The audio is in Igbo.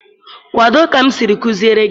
Kwado ka m siri kuziere gị